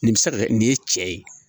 Nin bɛ se ka kɛ nin ye cɛ ye